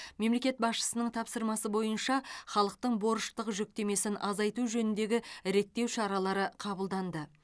мемлекет басшысының тапсырмасы бойынша халықтың борыштық жүктемесін азайту жөніндегі реттеу шаралары қабылданды